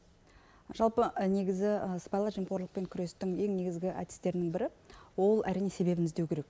жалпы негізі сыбайлас жемқорлықпен күрестің ең негізгі әдістерінің бірі ол әрине себебін іздеу керек